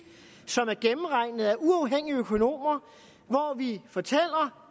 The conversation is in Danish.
som er gennemregnet af uafhængige økonomer og hvor vi fortæller